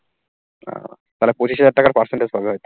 তাহলে পঁচিশ হাজার টাকার percentage পাবে হয়তো।